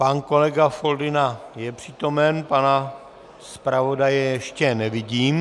Pan kolega Foldyna je přítomen, pana zpravodaje ještě nevidím.